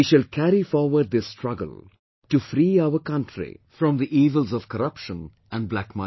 We shall carry forward this struggle to free our country from the evils of corruption and black money